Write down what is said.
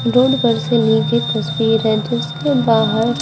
road पर से ली गई तस्वीर है जिसके बाहर--